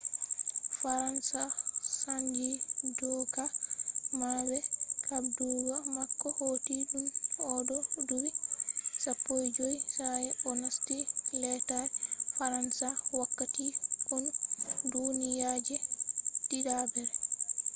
faransa sannji dooka mabbe. habdugo mako hoti tun o do dubi 15 sa'e o nasti lettare faransa wakkati konu duniya je diddabre